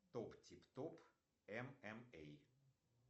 топ тип том эм эм эй